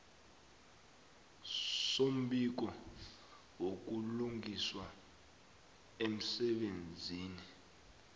sombiko wobulungiswa emsebenzini